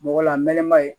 Mɔgɔ la mɛnɛ ma ye